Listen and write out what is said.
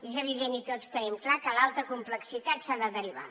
és evident i tots tenim clar que l’alta complexitat s’ha de derivar